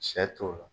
Sɛ t'o la